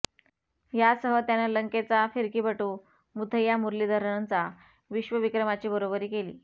यासह त्यानं लंकेचा फिरकीपटू मुथय्या मुरलीधरनचा विश्वविक्रमाची बरोबरी केली